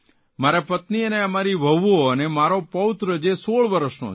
મારા પત્ની અને અમારી વહુઓ અને મારો પૌત્ર જે ૧૬ વર્ષનો છે